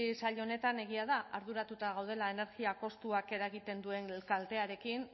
sail honetan egia da arduratuta gaudela energia kostuak eragiten duen kaltearekin